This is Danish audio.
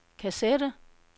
kassette